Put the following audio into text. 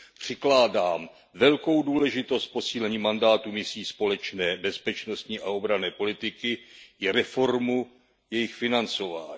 Přikládám velkou důležitost posílení mandátu misí společné bezpečnostní a obranné politiky i reformě jejich financování.